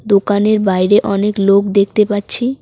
দোকানের বাইরে অনেক লোক দেখতে পাচ্ছি।